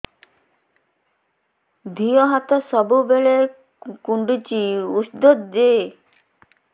ଦିହ ହାତ ସବୁବେଳେ କୁଣ୍ଡୁଚି ଉଷ୍ଧ ଦେ